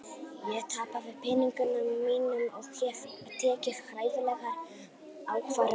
Ég tapaði peningunum mínum og hef tekið hræðilegar ákvarðanir.